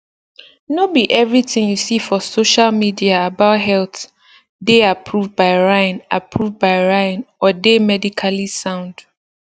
no be everything you see for social media about health dey approved by ryan approved by ryan or dey medically sound